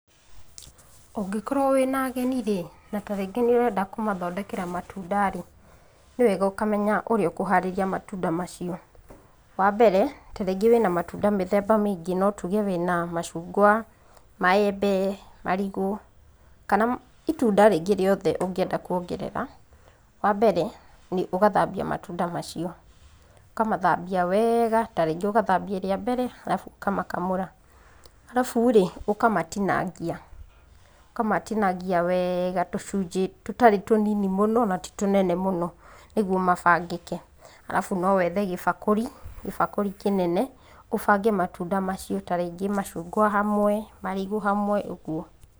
Ũngĩkorwo wĩna ageni rĩ, na tarĩngĩ nĩũrenda kũmathondekera matunda rĩ, nĩwega ũkamenya ũrĩa ũkũharĩria matunda macio. Wambere, tarĩngĩ wĩna matunda mĩthemba mĩingĩ, notuge wĩna macungwa, maembe, marigũ, kana itunda rĩngĩ o rĩothe ũngĩenda kuongerera, wambere nĩ ũgathambia matunda macio. Ũkamathambia wega, tarĩngĩ ũgathambia rĩambere, arabu ũkamakamũra. Arabu rĩ, ũkamatinangia, ũkamatinangia wega tũcunjĩ tũtarĩ tũnini mũno, na titũnene mũno, nĩguo mabangĩke, arabu nowethe gĩbakũri, gĩbakũri kĩnene, ũbange matunda macio, tarĩngĩ macungwa hamwe, marigũ hamwe, ũguo.